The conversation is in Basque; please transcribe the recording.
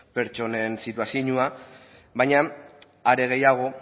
pertsonen situazioa baina are gehiago